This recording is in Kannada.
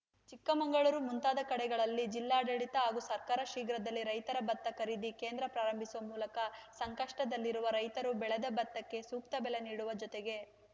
ಚಿಕ್ಕಮಗಳೂರು ಮುಂತಾದ ಕಡೆಗಳಲ್ಲಿ ಜಿಲ್ಲಾಡಳಿತ ಹಾಗೂ ಸರ್ಕಾರ ಶೀಘ್ರದಲ್ಲಿ ರೈತರ ಭತ್ತ ಖರೀದಿ ಕೇಂದ್ರ ಪ್ರಾರಂಭಿಸುವ ಮೂಲಕ ಸಂಕಷ್ಟದಲ್ಲಿರುವ ರೈತರು ಬೆಳೆದ ಭತ್ತಕ್ಕೆ ಸೂಕ್ತ ಬೆಲೆ ನೀಡುವ ಜೊತೆಗೆ